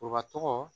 tɔgɔ